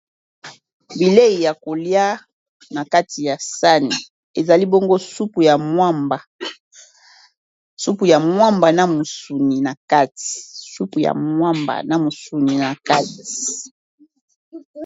Bilei ya kolia na kati ya sani ezali bongo supu ya mwamba na mwa musuni na kati.